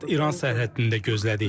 Səkkiz saat İran sərhəddində gözlədik.